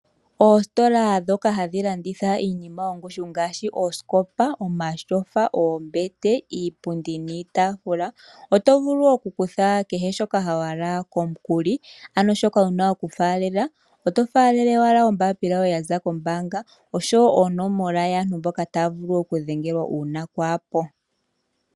Oositola ndhoka hadhi landitha iinima yongushu ngaashi oosikopa, omatyofa, oombete, iipundi nosho woo iitaafula ohadhi pitike aantu yakuthe iinima komikuli. Omuntu oho faalele owala ombaapila yoye yombaanga nosho woo onoomola dhaantu mboka taa vulu okudhengelwa uuna waa hepo.